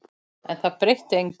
En það breytti engu.